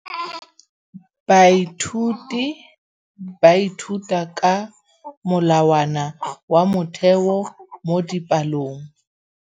Baithuti ba ithuta ka molawana wa motheo mo dipalong.